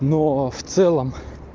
но в целом